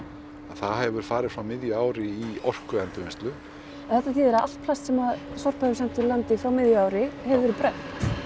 það hefur farið frá miðju ári í orkuendurvinnslu en þetta þýðir að allt plast sem að Sorpa hefur sent úr landi frá miðju ári hefur verið brennt